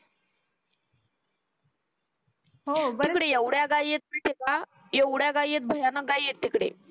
हो तिकडे एवढया गाई येत माहित आहे का एवढ्या गाई आहे की भयानक गया तिकडे